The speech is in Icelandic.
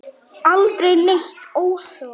Aldrei neitt óhóf.